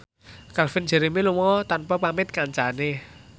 Calvin Jeremy lunga tanpa pamit kancane